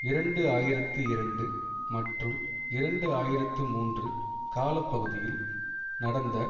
இரண்டு ஆயிரத்தி இரண்டு மற்றும் இரண்டு ஆயிரத்தி மூன்று கால பகுதியில் நடந்த